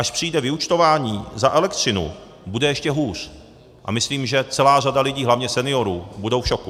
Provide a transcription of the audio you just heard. Až přijde vyúčtování za elektřinu, bude ještě hůř a myslím, že celá řada lidí, hlavně seniorů, bude v šoku.